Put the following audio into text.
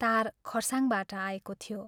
तार खरसाङबाट आएको थियो।